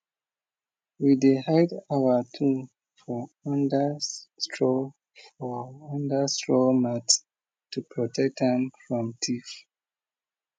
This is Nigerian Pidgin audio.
we dey hide our tool for under straw for under straw mat to protect am from thief